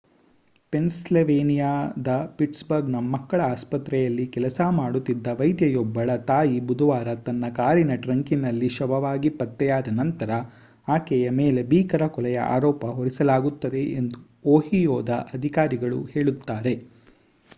ಪೆನ್ಸಿಲ್ವೇನಿಯಾದ ಪಿಟ್ಸ್‌ಬರ್ಗ್‌ನ ಮಕ್ಕಳ ಆಸ್ಪತ್ರೆಯಲ್ಲಿ ಕೆಲಸ ಮಾಡುತ್ತಿದ್ದ ವೈದ್ಯೆಯೊಬ್ಬಳ ತಾಯಿ ಬುಧವಾರ ತನ್ನ ಕಾರಿನ ಟ್ರಂಕಿನಲ್ಲಿ ಶವವಾಗಿ ಪತ್ತೆಯಾದ ನಂತರ ಆಕೆಯ ಮೇಲೆ ಭೀಕರ ಕೊಲೆಯ ಆರೋಪ ಹೊರಿಸಲಾಗುತ್ತದೆ ಎಂದು ಓಹಿಯೋದ ಅಧಿಕಾರಿಗಳು ಹೇಳುತ್ತಾರೆ